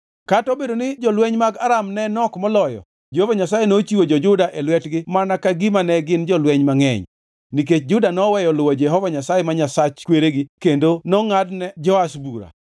Kata obedo ni jolweny mag Aram ne nok moloyo, Jehova Nyasaye nochiwo jo-Juda e lwetgi mana ka gima ne gin jolweny mangʼeny. Nikech Juda noweyo luwo Jehova Nyasaye ma Nyasach kweregi kendo nongʼadne Joash bura.